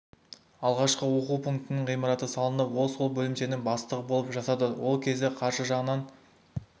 алғашқы оқу пунктінің ғимараты салынып ол сол бөлімшенің бастығы болып жасады ол кез қаржы жағынан